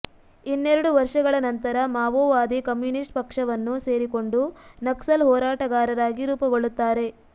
ಇನ್ನೆರಡು ವರ್ಷಗಳ ನಂತರ ಮಾವೋವಾದಿ ಕಮ್ಯೂನಿಸ್ಟ್ ಪಕ್ಷವನ್ನು ಸೇರಿಕೊಂಡು ನಕ್ಸಲ್ ಹೋರಾಟಗಾರರಾಗಿ ರೂಪುಗೊಳ್ಳುತ್ತಾರೆ